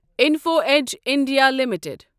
info Edge India limited